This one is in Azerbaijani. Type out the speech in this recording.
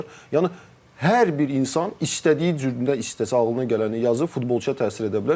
Yəni hər bir insan istədiyi cüründə istəsə ağlına gələni yazır, futbolçuya təsir edə bilər.